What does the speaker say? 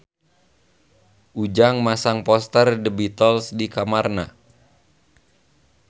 Ujang masang poster The Beatles di kamarna